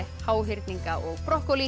háhyrninga og